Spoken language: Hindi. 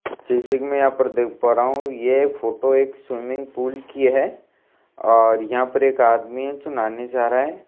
जैसे कि मैं यहां पर देख पा रहा हूं ये फोटो एक स्विमिंग पूल की है और यहां पर एक आदमी है जो नहाने जा रहा है।